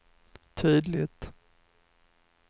tydligt